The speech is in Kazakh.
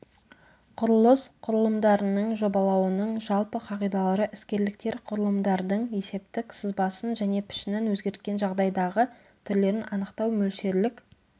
құрылыс құрылымдарының жобалауының жалпы қағидалары іскерліктер құрылымдардың есептік сызбасын және пішінін өзгерткен жағдайдағы түрлерін анықтау мөлшерлік